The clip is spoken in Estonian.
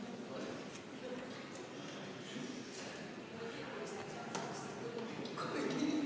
Tänane suure saali istung on lõppenud.